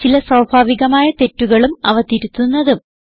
ചില സ്വാഭാവികമായ തെറ്റുകളും അവ തിരുത്തുന്നതും